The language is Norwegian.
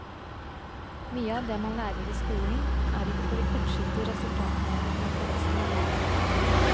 Mye av det man lærer i skolen, er ikke for de kortsiktige resultatene, men for resten av livet.